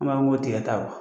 N ma fɔ n ko tigɛta wa